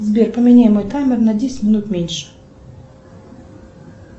сбер поменяй мой таймер на десять минут меньше